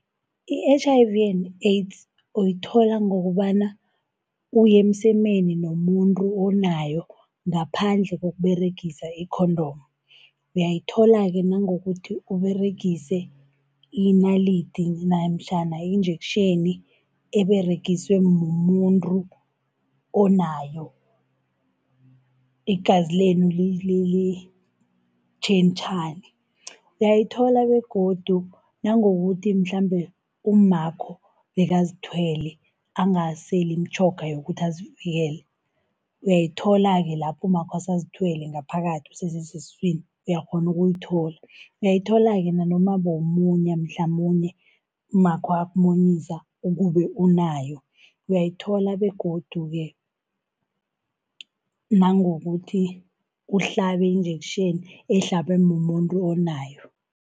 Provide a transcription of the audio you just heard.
I-H_I_V and AIDS uyithola ngokobana uye emsemeni nomuntu onayo ngaphandle ngokUberegisa i-condom. Uyayithola-ke nangokuthi Uberegise inalidi namtjhana injektjheni eberegiswe mumuntu onayo, igazi lenu litjhentjhane. Uyayithola begodu nangokuthi mhlambe ummakho bekazithwele, angaseli imitjhoga yokuthi azivikele. Uyayithola-ke lapho ummakho asazithwele ngaphakathi usese sesiswini uyakghona ukuyithola. Uyayithola-ke nanoma bowumunya mhlamunye ummakho akumunyisa ukube unayo. Uyayithola begodu-ke nangokuthi uhlabe injektjheni ehlabwe mumuntu onayo.